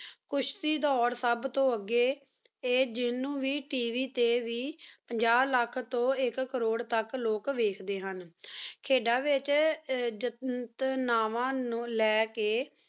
ਖੁਸ਼ਤੀ ਦੁਰ ਸਬ ਤੂੰ ਅਘੀ ਟੀ ਜਿਨੂ ਵੇ tv ਟੀ ਵੇ ਪਜਨ ਲਖ ਤੂੰ ਏਕ ਕਰੂਰ ਵੇਚ ਵਾਚ ਡੀਨ ਨੀ ਖਿਦਾਂ ਵੇਚ ਜੇਟ ਨਾਵਣ ਨੂ ਲੀ ਕੀ